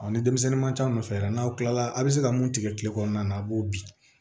ni denmisɛnnin man ca aw nɔfɛ yan n'aw kila la a bɛ se ka mun tigɛ tile kɔnɔna na a b'o bin